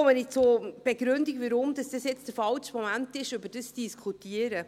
Nun komme ich zur Begründung, weshalb es der falsche Moment ist, darüber zu diskutieren.